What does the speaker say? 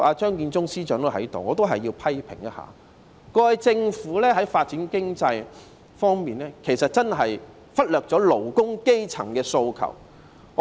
張建宗司長也在席，我要批評一下，過去政府在發展經濟方面真的忽略了基層勞工的訴求。